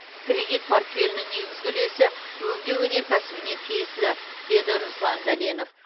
кредит портфелінің негізгі үлесі өңдеу өнеркәсібіне тиесілі деді руслан дәленов